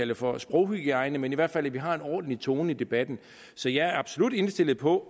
det for sproghygiejne men i hvert fald i vi har en ordentlig tone i debatten så jeg er absolut indstillet på